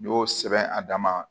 N y'o sɛbɛn a dama